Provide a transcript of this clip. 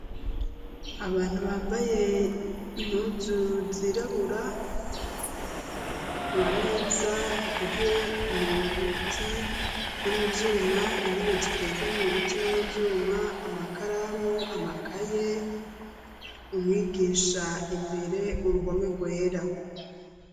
abantu bambaye impuzu zirabura amameza akozwe mu biti no muvyuma intebe zikozwe mu biti no muvyuma amakaramu amakaye umwigisha imbere uruhome rwera